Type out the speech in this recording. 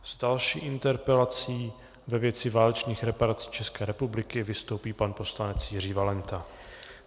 S další interpelací ve věci válečných reparací České republiky vystoupí pan poslanec Jiří Valenta.